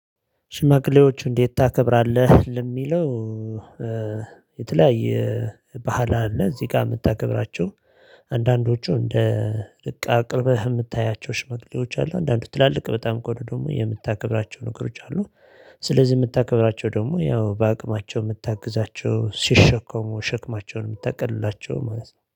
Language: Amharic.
ሽማግሌዎች እንዴት ታከብራለህ? ለሚለው የተለያየ ባህል አለ እዚህ ጋር የምታከብራቸው አንዳንዶቹ እንደ ልቅ አቅርብህ የምታያቸው ሽመግሌዎች አሉ አንዳንዱ ትላልቅ በጣም ከሆነ ደግሞ የምታከብራቸው ነገሮች አሉ። ስለዚህ የምታከብራቸው ደግሞ ያው በአቅማቸው የምታግዛቸው ሲሸኮሙ ሸክማቸውን የሚታቀልላቸው ማለት ነው